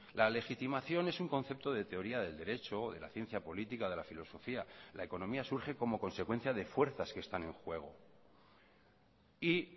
la legitimación es un concepto de teoría del derecho de la ciencia política de la filosofía la economía surge como consecuencia de fuerzas que están en juego y